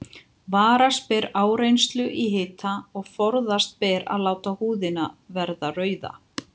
Varast ber áreynslu í hita og forðast ber að láta húðina verða rauða.